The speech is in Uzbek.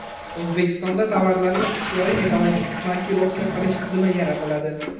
O‘zbekistonda tovarlarning ixtiyoriy ekologik markirovka qilish tizimi yaratiladi.